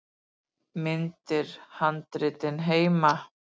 Myndir: Handritin heima.